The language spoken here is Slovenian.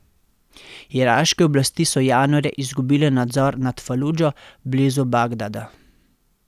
Iraške oblasti so januarja izgubile nadzor nad Faludžo blizu Bagdada.